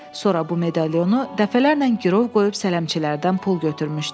Sonra bu medalionu dəfələrlə girov qoyub sələmçilərdən pul götürmüşdü.